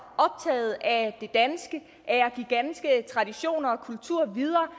af at give danske traditioner og kultur videre